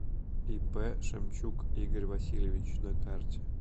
ип шемчук игорь васильевич на карте